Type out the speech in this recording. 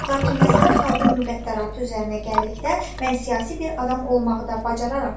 Lakin məsələ xalqın müqəddəratı üzərinə gəldikdə, mən siyasi bir adam olmağı da bacararam.